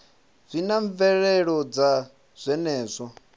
zwi na mvelelo dza zwenezwo